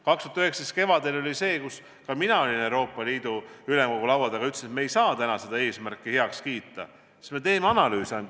2019. aasta kevadel olin ma Euroopa Liidu Ülemkogu laua taga ja ütlesin, et me ei saa täna seda eesmärki heaks kiita, me teeme esialgu ainult analüüse.